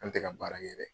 An tɛ ka baara kɛ dɛ